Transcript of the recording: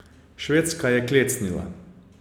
Švedska je klecnila.